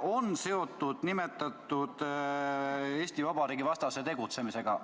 on seotud Eesti Vabariigi vastase tegutsemisega?